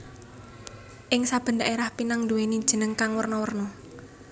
Ing saben dhaérah pinang nduwèni jeneng kang werna werna